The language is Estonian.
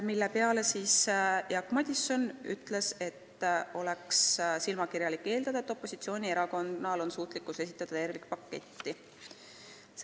Selle peale ütles Jaak Madison, et oleks silmakirjalik eeldada, et opositsioonierakond suudab esitada tervikpaketi.